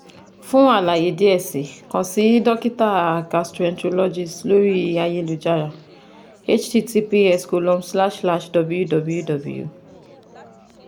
fun alaye diẹ sii kan si dokita gastroenterologist lori ayelujara https dot dot forward slash forward slash www